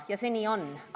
Nii see on.